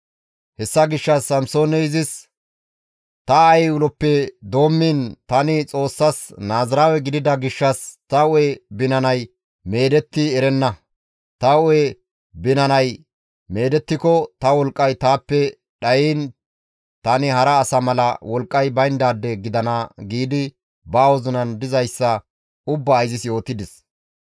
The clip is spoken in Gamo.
Hessa gishshas Samsooney izis, «Ta aayey uloppe doommiin tani Xoossas Naaziraawe gidida gishshas ta hu7e binanay meedetti erenna. Ta hu7e binanay meedettiko ta wolqqay taappe dhayiin tani hara asa mala wolqqay bayndaade gidana» giidi ba wozinan dizayssa ubbaa izis yootides.